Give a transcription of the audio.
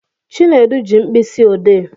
Chinedu ji mkpịsị odee